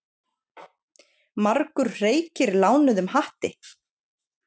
Margur hreykir lánuðum hatti.